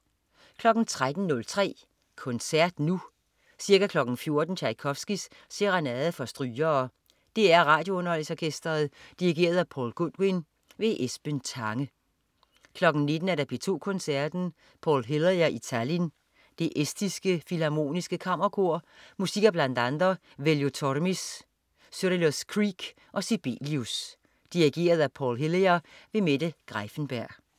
13.03 Koncert Nu. Ca. 14.00 Tjajkovskij: Serenade for strygere. DR RadioUnderholdningsOrkestret. Dirigent: Paul Goodwin. Esben Tange 19.00 P2 Koncerten. Paul Hillier i Tallinn. Det Estiske Filharmoniske Kammerkor. Musik af bl.a. Veljo Tormis, Cyrillus Kreek og Sibelius. Dirigent: Paul Hillier. Mette Greiffenberg